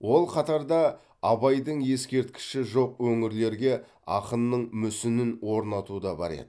ол қатарда абайдың ескерткіші жоқ өңірлерге ақынның мүсінін орнату да бар еді